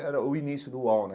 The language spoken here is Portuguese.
Era o início do Uol, né?